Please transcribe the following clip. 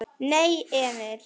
Nei, Emil!